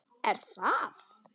Er það?